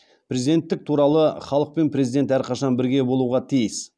президенттік туралы халық пен президент әрқашан бірге болуға тиіс